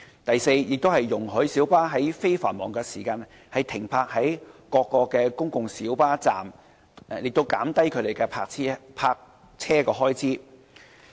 第四，運輸署容許小巴在非繁忙時間停泊在各公共小巴站，以減低其泊車開支。